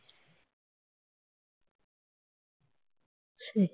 সেই